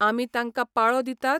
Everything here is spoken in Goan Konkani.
आमी तांकां पाळो दितात?